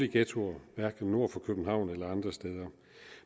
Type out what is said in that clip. ghettoer hverken nord for københavn eller andre steder